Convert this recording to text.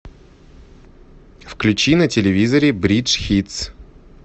включи на телевизоре бридж хитс